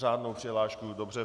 Řádnou přihlášku, dobře.